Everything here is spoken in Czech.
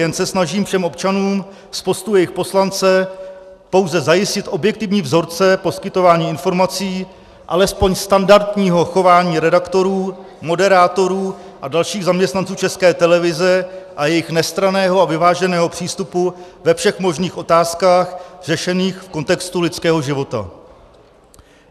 Jen se snažím všem občanům z postu jejich poslance pouze zajistit objektivní vzorce poskytování informací, alespoň standardního chování redaktorů, moderátorů a dalších zaměstnanců České televize a jejich nestranného a vyváženého přístupu ve všech možných otázkách, řešených v kontextu lidského života.